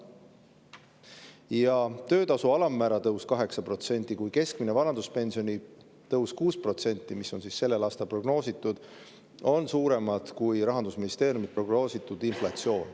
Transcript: Nii töötasu alammäära tõus 8% kui ka keskmise vanaduspensioni tõus 6%, mis on selleks aastaks prognoositud, on suuremad kui Rahandusministeeriumi prognoositud inflatsioon.